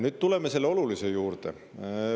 Nüüd tuleme selle olulise juurde.